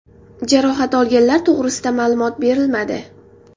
Jarohat olganlar to‘g‘risida ma’lumot berilmadi.